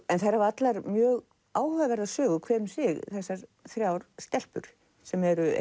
en þær hafa allar mjög áhugaverða sögu hver um sig þessar þrjár stelpur sem eru